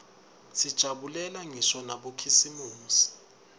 sijabulela ngisho nabokhisimusi